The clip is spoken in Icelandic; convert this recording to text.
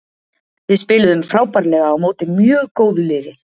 Við spiluðum frábærlega á móti mjög góðu liðið.